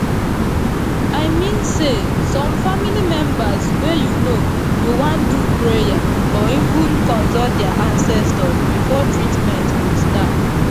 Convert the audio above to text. i mean say some family members wey u know go wan do prayer or even consult dia ancestors before treatment go start